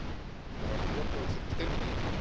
Það var notað sem steinlím.